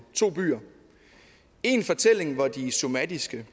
to byer en fortælling hvor de somatiske